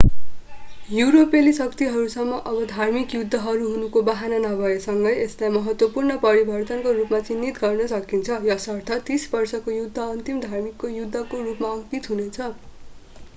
युरोपेली शक्तिहरूसँग अब धार्मिक युद्धहरू हुनुको बहाना नभए सँगै यसलाई महत्त्वपूर्ण परिवर्तनको रूपमा चिन्हित गर्न सकिन्छ यसर्थ तीस वर्षको युद्ध अन्तिम धार्मिक युद्धको रूपमा अङ्कित हुनेछ